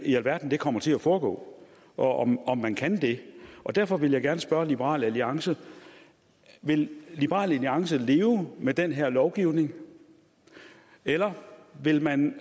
i alverden det kommer til at foregå og om om man kan det derfor vil jeg gerne spørge liberal alliance vil liberal alliance leve med den her lovgivning eller vil man